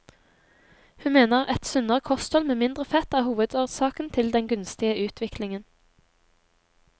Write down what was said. Hun mener et sunnere kosthold med mindre fett er hovedårsaken til den gunstige utvikling.